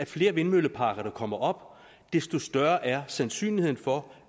flere vindmølleparker der kommer op desto større er sandsynligheden for